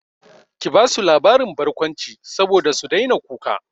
Ki basu labarin barkwanci saboda su daina kuka!